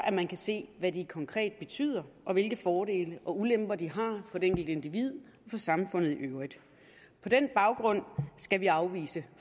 er man kan se hvad de konkret betyder og hvilke fordele og ulemper de har for det enkelte individ for samfundet i øvrigt på den baggrund skal vi afvise